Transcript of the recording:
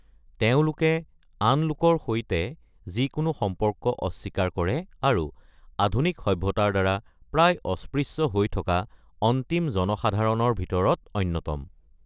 তেওঁলোকে আন লোকৰ সৈতে যিকোনো সম্পৰ্ক অস্বীকাৰ কৰে আৰু আধুনিক সভ্যতাৰ দ্বাৰা প্ৰায় অস্পৃশ্য হৈ থকা অন্তিম জনসাধাৰণৰ ভিতৰত অন্যতম।